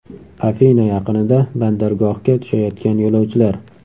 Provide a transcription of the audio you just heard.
Afina yaqinida bandargohga tushayotgan yo‘lovchilar.